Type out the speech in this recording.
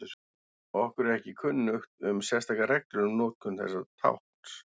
Okkur er ekki kunnugt um sérstakar reglur um notkun þessa tákns.